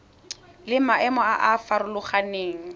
le maemo a a farologaneng